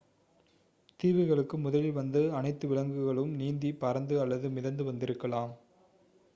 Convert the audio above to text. தீவுகளுக்கு முதலில் வந்த அனைத்து விலங்குகளும் நீந்தி பறந்து அல்லது மிதந்து வந்திருக்கலாம்